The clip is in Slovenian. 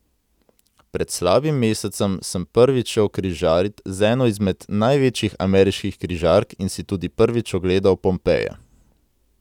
Pred slabim mesecem sem prvič šel križarit z eno izmed največjih ameriških križark in si tudi prvič ogledal Pompeje.